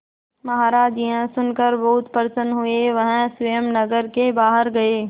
महाराज यह सुनकर बहुत प्रसन्न हुए वह स्वयं नगर के बाहर गए